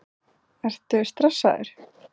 Ertu stressaður?